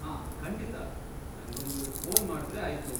ಹಾಂ, ಖಂಡಿತ! ನಂಗೊಂದು ಫೋನ್ ಮಾಡ್ದ್ರೆ ಆಯ್ತು.